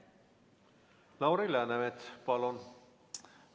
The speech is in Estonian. Lauri Läänemets, palun!